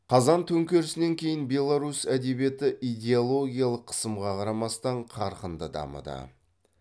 қазан төңкерісінен кейін беларусь әдебиеті идеологиялық қысымға қарамастан қарқынды дамыды